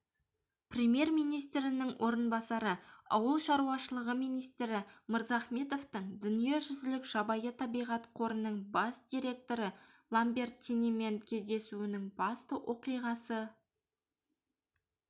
премьер-министрінің орынбасары ауыл шаруашылығы министрі мырзахметовтың дүниежүзілік жабайы табиғат қорының бас директоры ламбертинимен кездесуінің басты оқиғасы